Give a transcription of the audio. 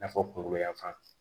I n'a fɔ kungo yanfan